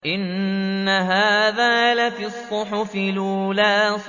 إِنَّ هَٰذَا لَفِي الصُّحُفِ الْأُولَىٰ